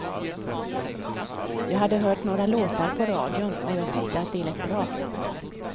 Jag hade hört några låtar på radion och jag tyckte att de lät bra.